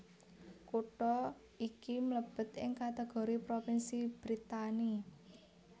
Kutha iki mlébet ing kategori propinsi Brittany